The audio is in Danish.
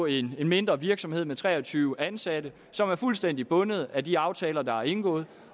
en mindre virksomhed med tre og tyve ansatte som er fuldstændig bundet af de aftaler der er indgået